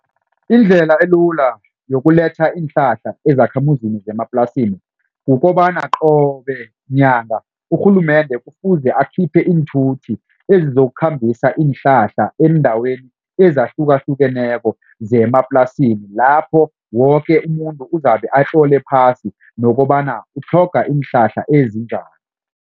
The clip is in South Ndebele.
Indlela elula yokuletha iinhlahla ezakhamuzini zemaplasini. Kukobana qobe nyanga urhulumende kufuze akhiphe iinthuthi ezizokukhambisa iinhlahla eendaweni ezahlukahlukeneko zemaplasini lapho woke umuntu uzabe atlole phasi nokobana utlhoga iinhlahla ezinjani.